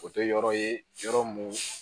O tɛ yɔrɔ ye yɔrɔ mun